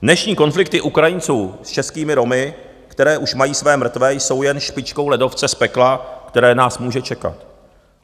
Dnešní konflikty Ukrajinců s českými Romy, které už mají své mrtvé, jsou jen špičkou ledovce z pekla, které nás může čekat.